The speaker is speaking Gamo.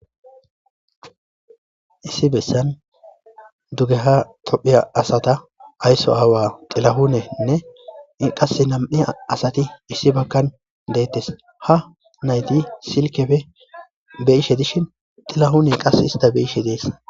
Issi bessan dugeha tophiya asata aysso aawa xilahunenne iqas nam7ia asati issi bakkan deettes ha nayti silkefe be ishe dishin xilahune qas ista beishe dees.